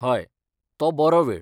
हय, तो बरो वेळ.